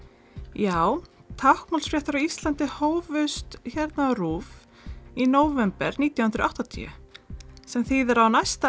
já táknmálsfréttir á Íslandi hófust hérna á RÚV í nóvember nítján hundruð og áttatíu sem þýðir að á næsta